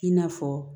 I n'a fɔ